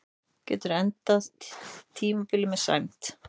Getum endað tímabilið með sæmd